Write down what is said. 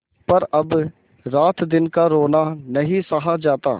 पर अब रातदिन का रोना नहीं सहा जाता